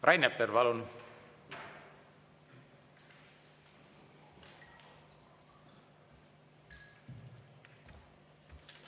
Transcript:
Rain Epler, palun!